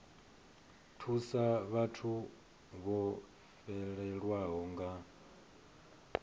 thusa vhathu vho fhelelwaho nga